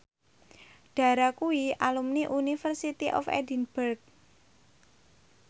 Dara kuwi alumni University of Edinburgh